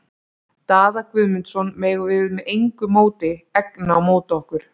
Daða Guðmundsson megum við með engu móti egna á móti okkur.